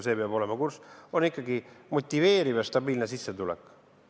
Esiteks on see ikkagi motiveeriv ja stabiilne sissetulek.